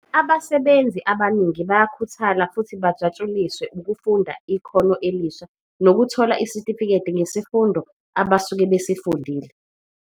Abasebenzi abaningi bayakhuthala futhi bajatshuliswe ukufunda ikhono elisha nokuthola isitifiketi ngesifundo abasuke besifundile.